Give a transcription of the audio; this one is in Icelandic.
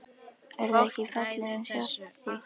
Er það ekki fallið um sjálft sig?